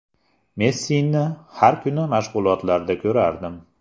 Messini har kuni mashg‘ulotlarda ko‘rardim.